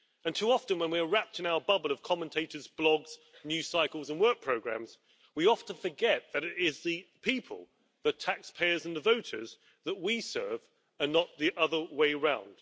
Too often, when we are wrapped in our bubble of commentators' blogs, news cycles and work programmes, we forget that it is the people, the taxpayers and the voters, that we serve and not the other way round.